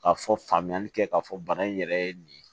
Ka fɔ faamuyali kɛ k'a fɔ bana in yɛrɛ ye nin ye